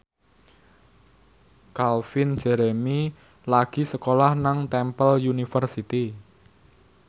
Calvin Jeremy lagi sekolah nang Temple University